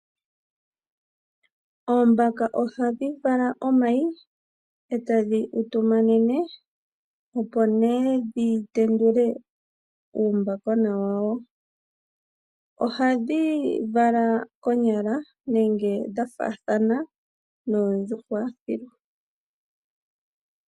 Oombaka ohadhi vala omayi etadhi utu manene, opo nee dhi tendule uumbakona wawo. Ohadhi vala konyala, nenge dha faathana noo djuhwa.